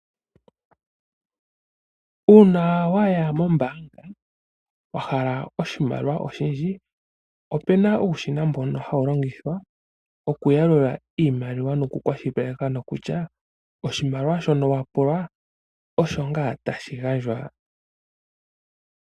Uuna waya mombaanga wahala oshimaliwa oshindji , opuna uushina mbono hawu longithwa okuyalula iimaliwa noku kwashilipaleka nokutya oshimaliwa shono wapula osho ngaa tashi gandjwa.